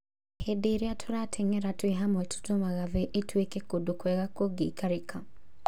Hĩndĩ ĩrĩa tũrateng'era twĩ hamwe tũtũmaga thĩ ĩtuĩke kũndũ kwega kũngĩikarĩka